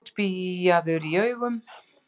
Útbíaður í augum.